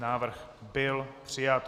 Návrh byl přijat.